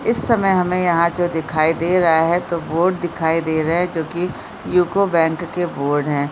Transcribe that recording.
इस समय हमें यहाँ जो दिखाई दे रहा है तो बोर्ड दिखाई दे रहे हैं जो की युको बैंक के बोर्ड हैं।